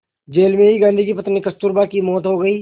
jail में ही गांधी की पत्नी कस्तूरबा की मौत हो गई